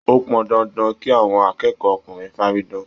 O pọn dandan kí àwọn akẹ́kọ̀ọ́ ọkùnrin faridan.